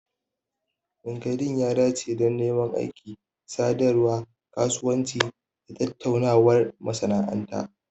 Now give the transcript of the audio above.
Linkedln ya dace don neman aiki, sadarwar kasuwanci, da tattaunawar masana'anta